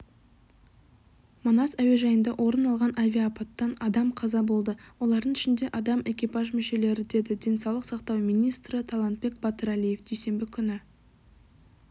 манас әуежайында орын алған авиаапаттан адам қаза болды олардың ішінде адам экипаж мүшелері деді денсаулық сақтау министрі талантбек батыралиев дүйсенбі күні